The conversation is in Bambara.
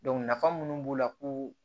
nafa minnu b'u la ko